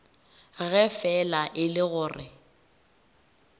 ge fela e le gore